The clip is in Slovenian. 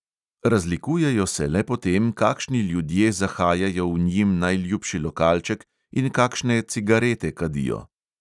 Razlikujejo se le po tem, kakšni ljudje zahajajo v njim najljubši lokalček in kakšne cigarete kadijo.